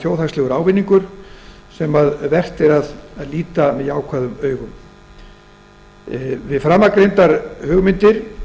þjóðhagslegur ávinningur sem vert er að líta með jákvæðum augum yrðu framangreindar hugmyndir